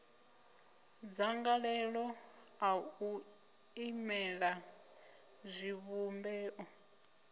dzangalelo ḽa u imelela zwivhumbeo